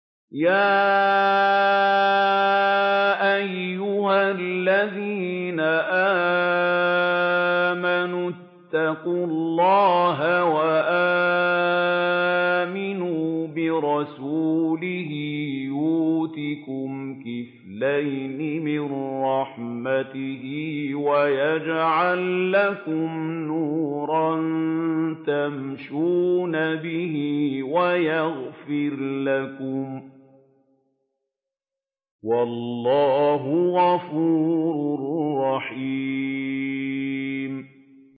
يَا أَيُّهَا الَّذِينَ آمَنُوا اتَّقُوا اللَّهَ وَآمِنُوا بِرَسُولِهِ يُؤْتِكُمْ كِفْلَيْنِ مِن رَّحْمَتِهِ وَيَجْعَل لَّكُمْ نُورًا تَمْشُونَ بِهِ وَيَغْفِرْ لَكُمْ ۚ وَاللَّهُ غَفُورٌ رَّحِيمٌ